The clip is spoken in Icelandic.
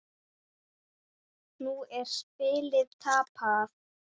Nú er spilið tapað.